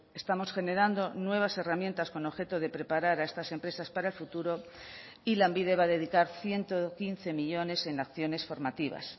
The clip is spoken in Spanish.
estamos generando nuevas herramientas con objeto de preparar a estas empresas para el futuro y lanbide va a dedicar ciento quince millónes en acciones formativas